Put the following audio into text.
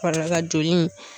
joli in.